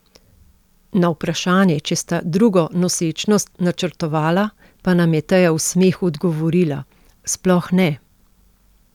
Na vprašanje, če sta drugo nosečnost načrtovala, pa nam je Teja v smehu odgovorila: "Sploh ne!